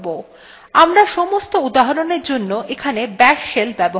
আমরা সমস্ত উদাহরণwe জন্য এখানে bash shell ব্যবহার করব